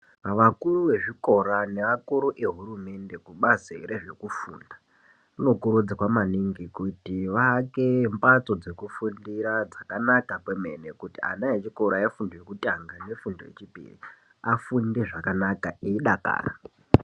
Vakuru vezvikora nevakuru vehurumende kubazi rezvekufunda anokurudzirwa maningi kuti vaake zvimbatso dzekufundira dzakanaka kwemene. Kuti ana echikora efundo yekutanga nefundo yechipiri afunde zvakanaka eidakara.